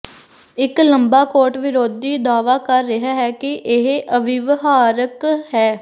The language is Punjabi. ਇੱਕ ਲੰਬਾ ਕੋਟ ਵਿਰੋਧੀ ਦਾਅਵਾ ਕਰ ਰਿਹਾ ਹੈ ਕਿ ਇਹ ਅਵਿਵਹਾਰਕ ਹੈ